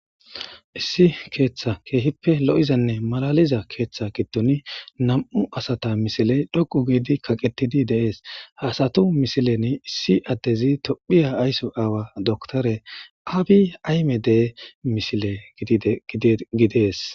issi keeththa keehippe lo7izanne malaliza keeththa giddon nam7u asata misile dhoqu giidi kaqettidi deees haasatu misileni issi addezi tophiya aysso aawa doktore aabi aymedee misile gidees